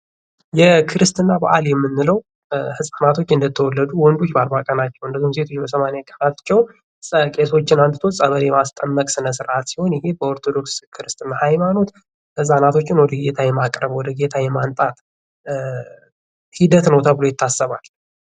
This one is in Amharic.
የክርስትና በአል የምንለው ህጻናቶች እንደተወለዱ ወንዶች በአርባ ቀናቸው ሴቶች በሰማንያ ቀናቸው ቄሶችን አምጥቶ ጸበል የማስጠመቅ ስነስርዓት ሲሆን ይሄ በኦርቶዶክስ ክርስትና ሐይማኖት ህጻናቶችን ወደ ጌታ የማቅረብ ወደ ጌታ የማምጣት ሂደት ነው ተብሎ ይታሰባል።